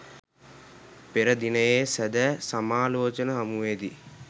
පෙර දිනයේ සැදැ සමාලෝචන හමුවේදී